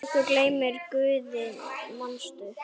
Þótt þú gleymir Guði, manstu?